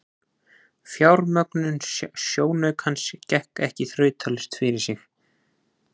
Fjármögnun sjónaukans gekk ekki þrautalaust fyrir sig.